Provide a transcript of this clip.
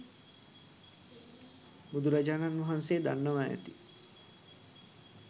බුදුරජාණන් වහන්සේ දන්නවා ඇති.